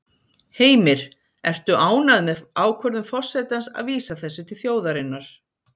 Heimir: Ertu ánægð með ákvörðun forsetans að vísa þessu til þjóðarinnar?